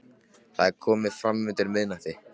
Það er komið fram undir miðnætti.